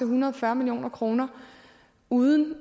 hundrede og fyrre million kroner uden